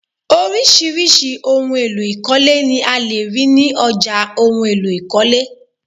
Orisirisi ohùn èlò ikọle ni a lè rí ní ọjà ohùn èlò ikọle